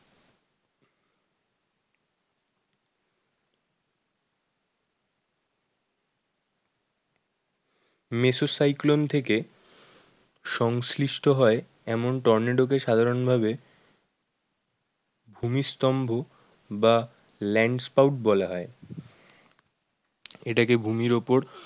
মেসো cyclone থেকে সংশ্লিষ্ট হয় এমন টর্নেডো কে সাধারণ ভাবে ভূমি স্তম্ভ বা land spa ও বলা হয়। এটাকে ভূমির ওপর